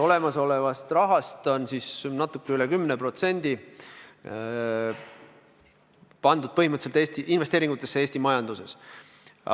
Olemasolevast rahast on natuke üle 10% pandud põhimõtteliselt investeeringutesse Eesti majanduses.